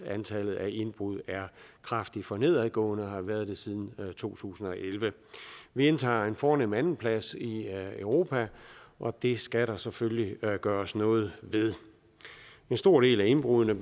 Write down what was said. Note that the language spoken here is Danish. antallet af indbrud er kraftigt for nedadgående og har været det siden to tusind og elleve vi indtager en fornem andenplads i europa og det skal der selvfølgelig gøres noget ved en stor del af indbruddene